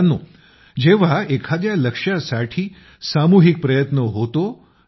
मित्रांनो जेव्हा एका लक्ष्यासाठी सामूहिक प्रयत्न होतो